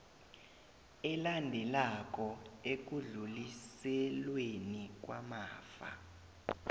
elandelako ekudluliselweni kwamafa